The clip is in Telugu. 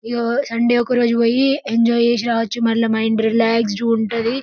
సండే ఒక రోజు పోయి ఎంజాయ్ చేసి రావచ్చు మైండ్ రిలాక్స్ గా ఉంటుంది.